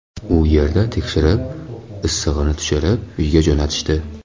U yerda tekshirib, issig‘ini tushirib, uyga jo‘natishdi.